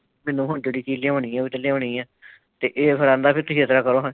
ਮੈਨੂੰ ਹੁਣ ਜਿਹੜੀ ਚੀਜ ਲਿਆਉਣੀ ਤੇ ਉਹ ਲਿਆਉਣੀ ਹੈ ਇਹ ਫਿਰ ਆਉਂਦਾ ਤੇ ਤੁਸੀਂ ਇਸ ਤਰ੍ਹਾਂ ਕਰੋ ਹਾਂ ।